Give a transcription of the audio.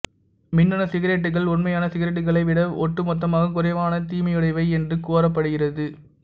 மின்னணு சிகரெட்டுகள் உண்மையான சிகரெட்டுகளை விட ஒட்டு மொத்தமாக குறைவான தீமையுடையவை என்று கோரப்படுகிறது